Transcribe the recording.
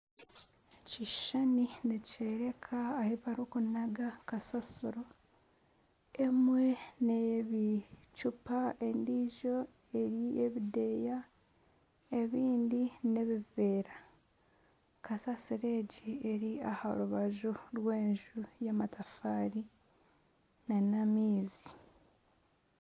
Ekishushani nikyoreka ahu barikunaga kasasiro emwe ney'ebicupa endiijo eri ey'ebideeya ebindi nebiveera kasasiro egi eri aharubaju rw'enju , enju y'amatafaari nana amaizi